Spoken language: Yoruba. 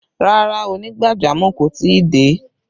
Rárá, onígbàjamọ̀ kò tí ì dé